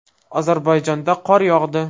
Ozarbayjonda qor yog‘di.